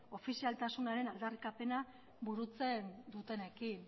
ofizialtasunaren aldarrikapena burutzen dutenekin